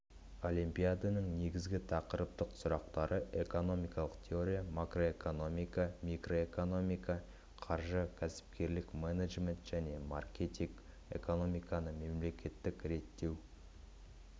олимпиаданың негізгі тақырыптық сұрақтары экономикалық теория макроэкономика микроэкономика қаржы кәсіпкерлік менеджмент және маркетинг экономиканы мемлекеттік реттеу